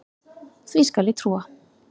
Því skal ég trúa